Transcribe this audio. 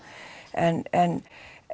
en en